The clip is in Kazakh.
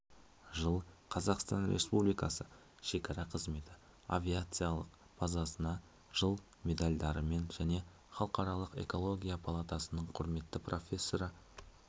жыл қазақстан республикасы шекара қызметі авиациялық базасына жыл медальдарымен және халықаралық экология палатасының құрметті профессоры